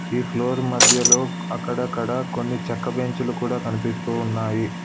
ఈ ఫ్లోర్ మధ్యలో అక్కడక్కడా కొన్ని చెక్క బెంచ్ లు కూడా కనిపిస్తూ ఉన్నాయి.